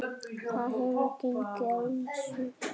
Þar hefur gengið á ýmsu.